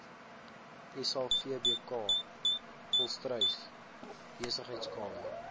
savbk volstruis besigheidskamer